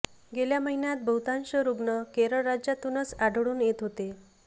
गेल्या महिन्यात बहुतांश रुग्ण केरळ राज्यातूनच आढळून येत होते